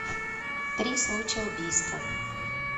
три случая убийства